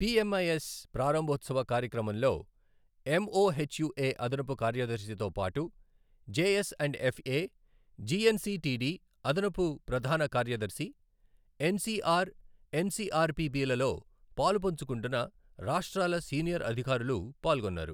P MIS ప్రారంభోత్సవ కార్యక్రమంలో MOHUA అదనపు కార్యదర్శితో పాటు జేఎస్ అండ్ ఎఫ్ఏ, జీఎన్సీటీడీ అదనపు ప్రధాన కార్యదర్శి, ఎన్సీఆర్, ఎన్సీఆర్పీబీలలో పాలుపంచుకుంటున్న రాష్ట్రాల సీనియర్ అధికారులు పాల్గొన్నారు.